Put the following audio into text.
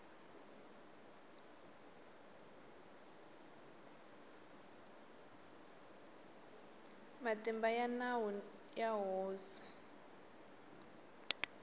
matimba ya nawu ya hosi